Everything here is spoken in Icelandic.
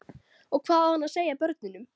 Og hvað á hann að segja börnunum?